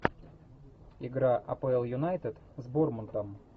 игра апл юнайтед с борнмутом